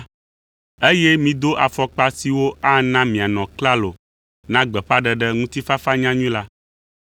eye mido afɔkpa siwo ana mianɔ klalo na gbeƒãɖeɖe ŋutifafanyanyui la.